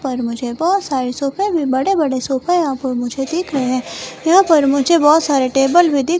और मुझे बहुत सारे सोफे में बड़े-बड़े सोफा और मुझे देख रहे हैं यहां पर मुझे बहुत सारे टेबल में।